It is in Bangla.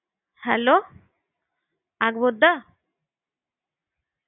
Hello হ্যা আমি আকবর বলছি